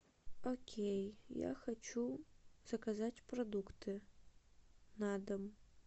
окей я хочу заказать продукты на дом